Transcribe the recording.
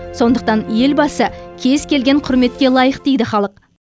сондықтан елбасы кез келген құрметке лайық дейді халық